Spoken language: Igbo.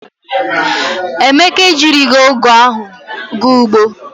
Emeka ejirighi ogu ahu ga ugbo.